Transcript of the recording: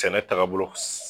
Sɛnɛ taaga bolo